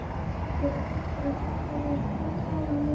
Eru einhver viðbrögð fyrir þá aðila?